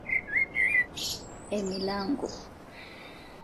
Emilango.